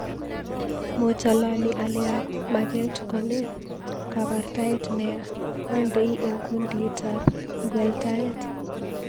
Mochalani ale maget kone, kabortaet neya. Andei eng Kundit ab ngweltaet